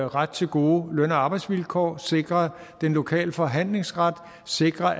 ret til gode løn og arbejdsvilkår sikre den lokale forhandlingsret sikre